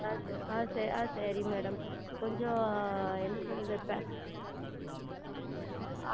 ஆஹ் ஆஹ் ஆஹ் சரி Madam கொஞ்சம் என்ன சொல்லுவது